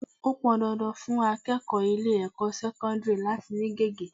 Ó pọn dandan fún akẹ́kọ̀ọ́ ilé ẹ̀kọ́ sẹ́kọ́ńdírì láti ni gege.